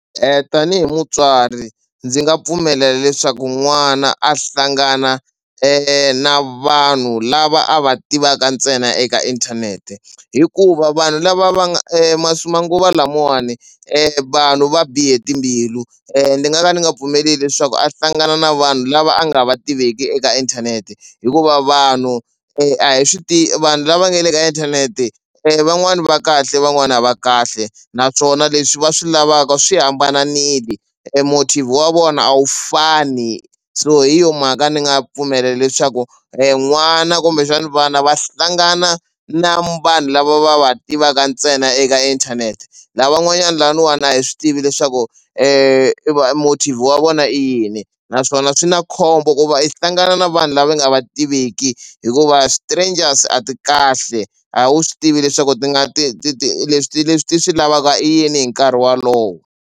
Tanihi mutswari ndzi nga pfumelela leswaku n'wana a hlangana na vanhu lava a va tivaka ntsena eka inthanete hikuva vanhu lava va nga manguva lamawani vanhu va bihe timbilu ni nga ka ndzi nga pfumeli leswaku a hlangana na vanhu lava a nga va tiveki eka inthanete hikuva vanhu a hi swi tivi vanhu lava nga le ka inthanete van'wani va kahle van'wani a va kahle naswona leswi va swi lavaka swi hambanile e motive wa vona a wu fani so hi yo mhaka ni nga pfumela leswaku n'wana kumbexana vana va hlangana na vanhu lava va va tivaka ntsena eka inthanete lavan'wanyani laniwani a hi swi tivi leswaku e motive wa vona i yini naswona swi na khombo ku va i hlangana na vanhu lava nga va tiveki hikuva strangers a ti kahle a wu swi tivi leswaku ti nga ti ti ti leswi leswi ti swi lavaka i yini hi nkarhi wolowo.